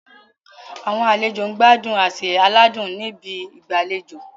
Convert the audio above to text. Àwọn àlejò ń gbádùn àsè aládùn ní ibi ìgbàlejò.